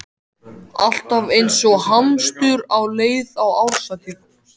Alltaf eins og hamstur á leið á árshátíð.